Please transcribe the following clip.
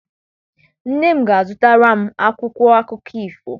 Nne m ga-azụtara m akwụkwọ akụkọ ifo.